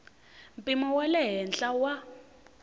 mpimo wa le henhla wa